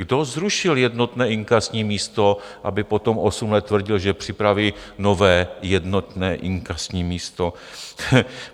Kdo zrušil jednotné inkasní místo, aby potom osm let tvrdil, že připraví nové jednotné inkasní místo?